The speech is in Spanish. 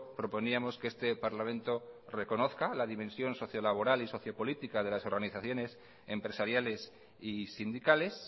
proponíamos que este parlamento reconozca la dimensión sociolaboral y sociopolítica de las organizaciones empresariales y sindicales